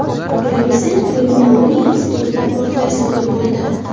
Bryussel Kriminologiya institutida portlash sodir bo‘ldi.